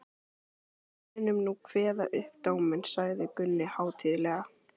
Við munum nú kveða upp dóminn, sagði Gunni hátíðlega.